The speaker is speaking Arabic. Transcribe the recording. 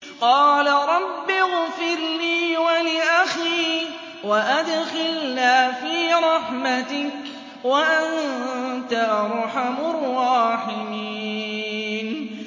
قَالَ رَبِّ اغْفِرْ لِي وَلِأَخِي وَأَدْخِلْنَا فِي رَحْمَتِكَ ۖ وَأَنتَ أَرْحَمُ الرَّاحِمِينَ